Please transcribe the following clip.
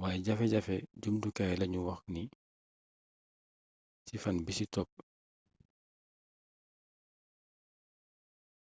wayé jafejafe jumtukaay la ñu wax ci fan bisi topp